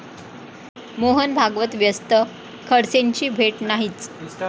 मोहन भागवत व्यस्त, खडसेंची भेट नाहीच!